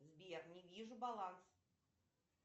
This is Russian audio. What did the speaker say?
сбер не вижу баланс